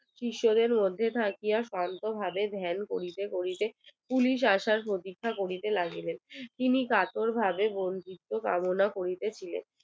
কিশোরের মধ্যে থাকিয়া শান্ত ভাবে ধ্যান করিতে করিতে পুলিশ আসার প্রতীক্ষা করিতে লাগিলেন তিনি কাতর ভাবে কামনা করিতে ছিলেন